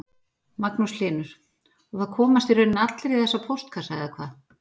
Magnús Hlynur: Og það komast í rauninni allir í þessa póstkassa eða hvað?